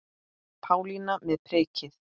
Pálína með prikið